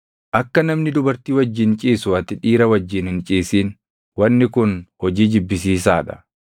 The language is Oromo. “ ‘Akka namni dubartii wajjin ciisu ati dhiira wajjin hin ciisin; wanni kun hojii jibbisiisaa dha.